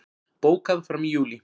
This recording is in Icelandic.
Bókað fram í júlí